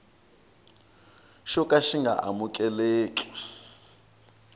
xo ka xi nga amukeleki